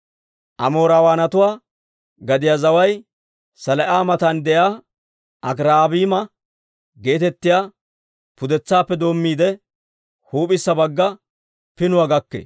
Amoorawaanatuwaa gadiyaa zaway Selaa'a matan de'iyaa Akirabiima geetettiyaa pudetsaappe doommiide, huup'issa bagga pinuwaa gakkee.